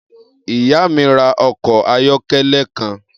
Iya mi ra ọkọ ayọkẹlẹ kan.